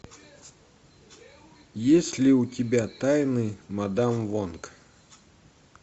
есть ли у тебя тайны мадам вонг